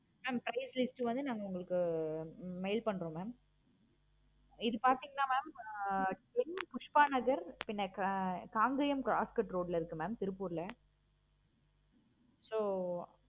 mam price list வந்து நாங்க உங்களுக்கு mail பன்றோம் mam இது பார்த்தீங்களா mam m புஷ்பா நகர் ரோட்ல இருக்கு mam திருப்பூர்ல so